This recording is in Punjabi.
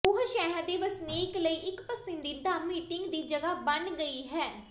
ਉਹ ਸ਼ਹਿਰ ਦੇ ਵਸਨੀਕ ਲਈ ਇੱਕ ਪਸੰਦੀਦਾ ਮੀਟਿੰਗ ਦੀ ਜਗ੍ਹਾ ਬਣ ਗਈ ਹੈ